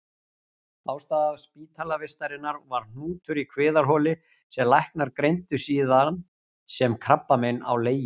Ástæða spítalavistarinnar var hnútur í kviðarholi sem læknar greindu síðan sem krabbamein á leginu.